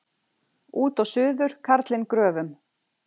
Út og suður karlinn gröfum.